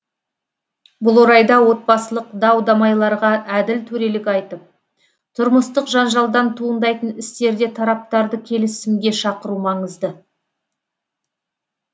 бұл орайда отбасылық дау дамайларға әділ төрелік айтып тұрмыстық жанжалдан туындайтын істерде тараптарды келісімге шақыру маңызды